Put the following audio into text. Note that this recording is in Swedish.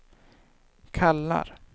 kallar